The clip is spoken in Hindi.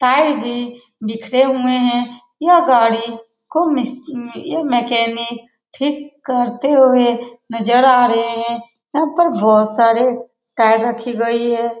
टायर भी बिखरे हुए हैं यह गाड़ी खूब मिस यह मैकेनिक ठीक करते हुए नजर आ रहे हैं यहाँ पर बहुत सारे टायर रखी गयी हैं ।